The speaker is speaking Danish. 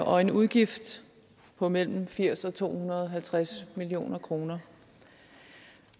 og en udgift på mellem firs og to hundrede og halvtreds million kroner